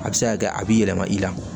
A bɛ se ka kɛ a b'i yɛlɛma i la